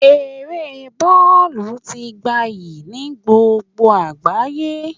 Eré bọ́ọ̀lù ti gabyi ni gbogbo àgbáyé